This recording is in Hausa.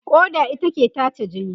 ƙoda ita ke tace jini.